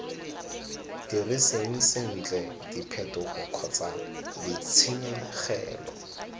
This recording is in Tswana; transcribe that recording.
diriseng sentle diphetogo kgotsa ditshenyegelo